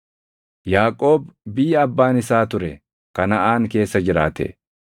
Yaaqoob biyya abbaan isaa ture, Kanaʼaan keessa jiraate.